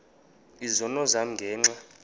izono zam ngenxa